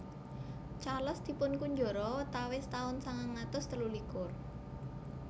Charles dipunkunjara watawis taun sangang atus telu likur